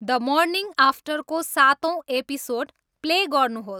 the morning आफ्टरको सातौं episode play गर्नुहोस्